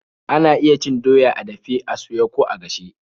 Ana iya cin doya a dafe, a soye, ko a gashe.